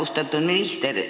Austatud minister!